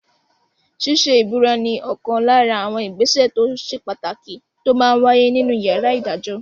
Ṣíṣe ìbúra ní ọ̀kan lára àwọn ìgbésẹ̀ tó ṣe pàtàkì tó máa n wáyé nínu yàrá ìdájọ́